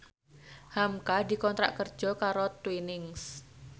hamka dikontrak kerja karo Twinings